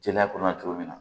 Jeliya kɔnɔ cogo min na